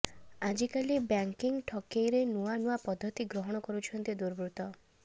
ଆଜିକାଲି ବ୍ୟାଙ୍କି ଠକେଇରେ ନୂଆ ନୂଆ ପଦ୍ଧତି ଗ୍ରହଣ କରୁଛନ୍ତି ଦୁର୍ବୃତ୍ତ